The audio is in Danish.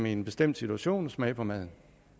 i en bestemt situation at smage på maden